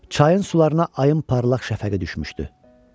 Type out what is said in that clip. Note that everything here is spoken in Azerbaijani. Çayın sularına ayın parlaq şəfəqi düşmüşdü.